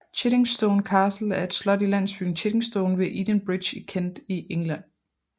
Chiddingstone Castle er et slot i landsbyen Chiddingstone ved Edenbridge i Kent i England